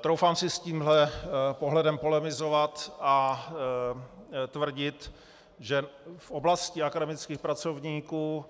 Troufám si s tímhle pohledem polemizovat a tvrdit, že v oblasti akademických pracovníků